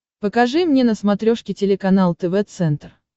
покажи мне на смотрешке телеканал тв центр